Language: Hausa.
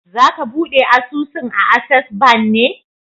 Za ka buɗe asusun a Ases ban ne?